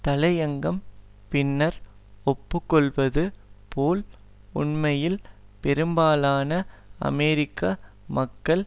தலையங்கம் பின்னர் ஒப்புக்கொள்ளுவது போல் உண்மையில் பெரும்பாலான அமெரிக்க மக்கள்